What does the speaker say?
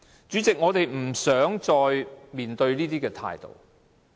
主席，我們已經不想再面對這種態度。